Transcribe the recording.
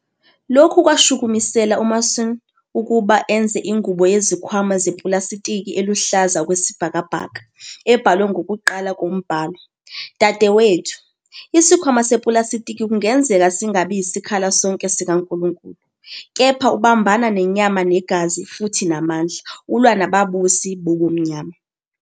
Lokhu kwashukumisela uMason ukuba enze ingubo yezikhwama zepulasitiki eluhlaza okwesibhakabhaka, ebhalwe ngokuqala kombhalo- " "Dadewethu, isikhwama sepulasitiki kungenzeka singabi yisikhali sonke sikaNkulunkulu, kepha ubambana nenyama negazi, futhi namandla, ulwa nababusi bobumnyama.